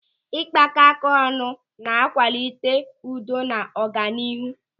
Ịgbakọáká ọnụ na-akwalite udo na ọganihu.